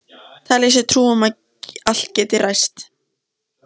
Telja sér trú um að allt geti ræst.